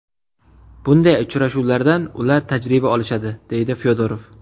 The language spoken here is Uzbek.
Bunday uchrashuvlardan ular tajriba olishadi”, deydi Fyodorov.